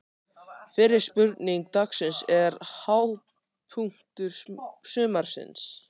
Fyrri spurning dagsins er: Hápunktur sumarsins?